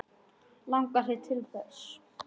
Langar þig til þess?